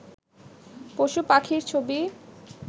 পশু পাখির ছবি